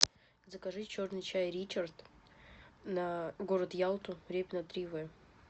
закажи черный чай ричард на город ялту репина три в